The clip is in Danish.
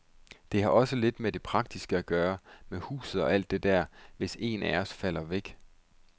Det har også lidt med det praktiske at gøre, med huset og alt det der, hvis en af os falder væk.